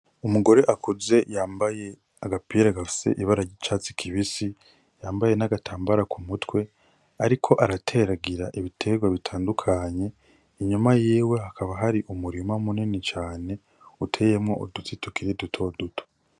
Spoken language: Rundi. Umugore akuze yambaye agapira gafise ibarary'icatsi kibisi yambaye n'agatambara ku mutwe, ariko arateragira ibiterwa bitandukanye inyuma yiwe hakaba hari umurima munene cane uteyemwo uduti tukiri dutoduto.